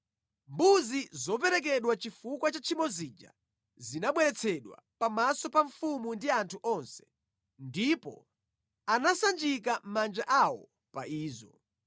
Mbuzi zoperekedwa chifukwa cha tchimo zija zinabweretsedwa pamaso pa mfumu ndi anthu onse, ndipo anasanjika manja awo pa izo.